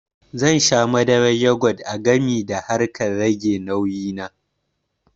Zan sha madarar yogut a gami da harkar rage nauyi na